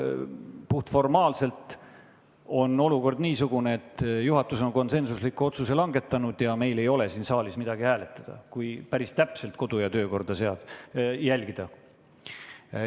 Puhtformaalselt on olukord niisugune, et juhatus on konsensusliku otsuse langetanud ja meil ei ole siin saalis midagi hääletada, kui päris täpselt kodu- ja töökorda järgida.